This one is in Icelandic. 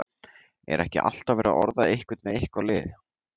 Er ekki alltaf verið að orða einhvern við eitthvað lið?